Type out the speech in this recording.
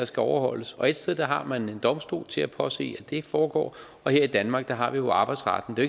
skal overholdes og et sted har man en domstol til at påse at det foregår og her i danmark har vi jo arbejdsretten det